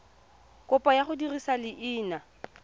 kopo ya go dirisa leina